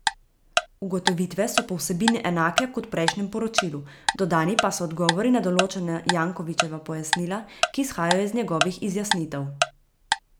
Ugotovitve so po vsebini enake kot v prejšnjem poročilu, dodani pa so odgovori na določena Jankovićeva pojasnila, ki izhajajo iz njegovih izjasnitev.